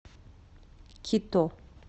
кито